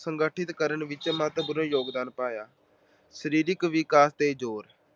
ਸੰਗਠਿਤ ਕਰਨ ਵਿੱਚ ਮਹੱਤਵਪੂਰਨ ਯੋਗਦਾਨ ਪਾਇਆ। ਸਰੀਰਕ ਵਿਕਾਸ ਤੇ ਜੋਰ